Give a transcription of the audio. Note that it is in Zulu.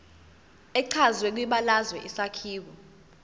echazwe kwibalazwe isakhiwo